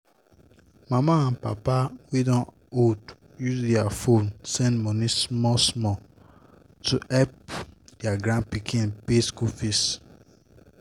mama and papa wey don old use their phone send money small-small to help their grandpikin pay school fees